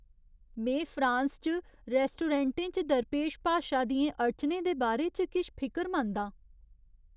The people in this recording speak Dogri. में फ्रांस च रैस्टोरैंटें च दरपेश भाशा दियें अड़चनें दे बारे च किश फिकरमंद आं।